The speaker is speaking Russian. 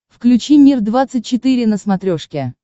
включи мир двадцать четыре на смотрешке